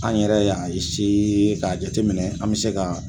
An yɛrɛ y'a k'a jateminɛ an bɛ se ka